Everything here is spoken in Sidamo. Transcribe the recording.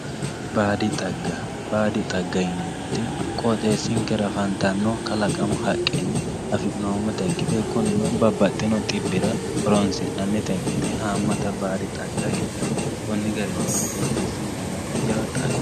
baadi dhagga baadi dhagga yineemoti qooxeessinkera afantanno kalaqamu haqqeni afi'noomota ikkite kunino babbaxino dhibbira hooronsi'nanita ikkite haamata baadi dhagga heedhanno koni garinino qoxeessinkera jawa dhagga